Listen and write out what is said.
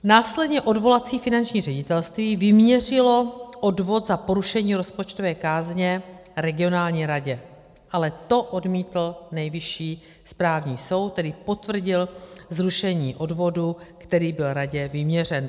Následně odvolací finanční ředitelství vyměřilo odvod za porušení rozpočtové kázně regionální radě, to ale odmítl Nejvyšší správní soud, který potvrdil zrušení odvodu, který byl radě vyměřen.